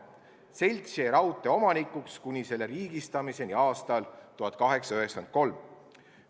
Selts jäi raudtee omanikuks kuni selle riigistamiseni aastal 1893.